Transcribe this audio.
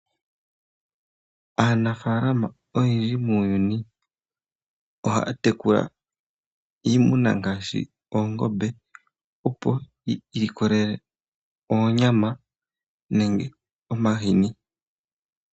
Aanafaalama oyendji muuyuni ohaya tekula iimuna ngaashi oongombe, opo yi ilikolele oonyama nenge omahini.